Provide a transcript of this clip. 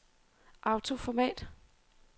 autoformat